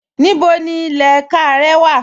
Níbo ni ilẹ̀ ẹ̀kà rẹ wà?